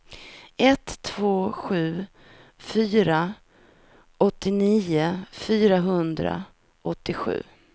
ett två sju fyra åttionio fyrahundraåttiosju